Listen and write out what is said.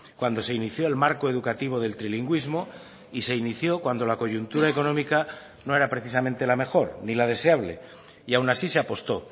cuando se inició el marco educativo del trilingüísmo y se inició cuando la coyuntura económica no era precisamente la mejor ni la deseable y aún así se apostó